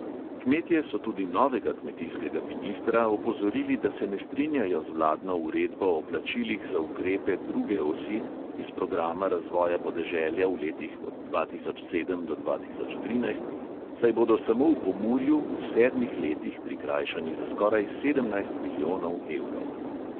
Kmetje so tudi novega kmetijskega ministra opozorili, da se ne strinjajo z vladno uredbo o plačilih za ukrepe druge osi iz programa razvoja podeželja v letih od dva tisoč sedem do dva tisoč trinajst, saj bodo samo v pomurju v sedmih letih prikrajšani za skoraj sedemnajst milijonov evrov.